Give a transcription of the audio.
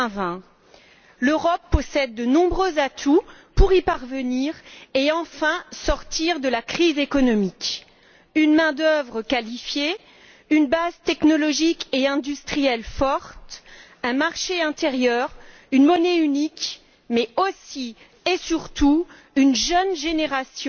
2020. L'Europe possède de nombreux atouts pour y parvenir et enfin sortir de la crise économique une main d'œuvre qualifiée, une base technologique et industrielle forte, un marché intérieur, une monnaie unique mais, aussi et surtout, une jeune génération